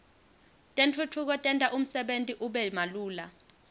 tentfutfuko tenta umsebenti ube malula